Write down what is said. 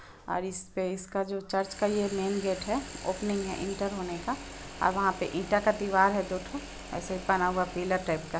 और इसपे इसका जो चर्च का ये मैंन गेट हैं ओपनिंग हैं एंटर होने का और वह पे ईंटा का दिवार हैं दोठो ऐसे बना हुआ पिलर टाइप क--